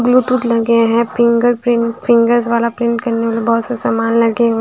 Bluetooth लगे हैं fingerprint fingers वाला प्रिंट करने वाला बहुत सा सामान लगे हुए--